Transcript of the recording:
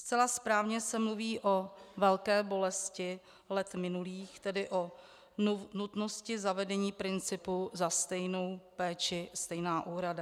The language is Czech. Zcela správně se mluví o velké bolesti let minulých, tedy o nutnosti zavedení principu za stejnou péči stejná úhrada.